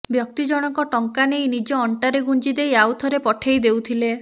ବ୍ୟକ୍ତି ଜଣକ ଟଙ୍କା ନେଇ ନିଜ ଅଣ୍ଟାରେ ଗୁଞ୍ଜିଦେଇ ଆଉ ଥରେ ପଠେଇ ଦେଉଥିଲେ